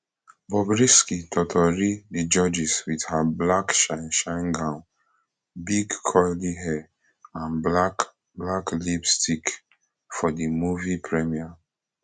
bobrisky totori di judges wit her black shineshine gown big curly hair and black black lipstick for di movie premiere